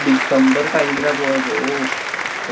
december time ലാ പോയത്. ഹൊ!